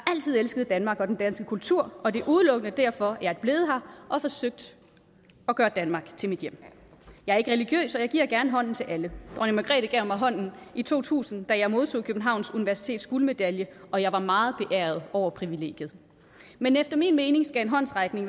altid elsket danmark og den danske kultur og det er udelukkende derfor jeg er blevet her og har forsøgt at gøre danmark til mit hjem jeg er ikke religiøs og giver gerne hånden til alle dronning margrethe gav mig hånden i to tusind da jeg modtog københavns universitets guldmedalje og jeg var meget beæret over privilegiet men efter min mening skal en håndsrækning